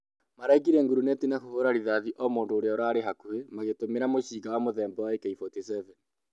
maraikirie nguruneti na kũhũra rithathi o mũndũ ũria ũrarĩ hakuhĩ magĩtumĩra mũcinga muthemba wa AK-47